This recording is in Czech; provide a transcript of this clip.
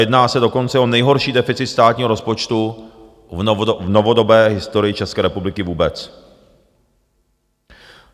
Jedná se dokonce o nejhorší deficit státního rozpočtu v novodobé historii České republiky vůbec.